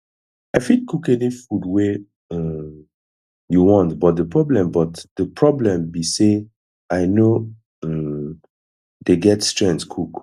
i fit cook any food wey um you want but the problem but the problem be say i no um dey get strength cook